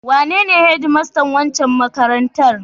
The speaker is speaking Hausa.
Wanene hedmastan wancan makarantar?